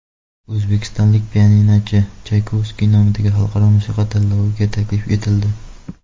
O‘zbekistonlik pianinochi Chaykovskiy nomidagi xalqaro musiqa tanloviga taklif etildi.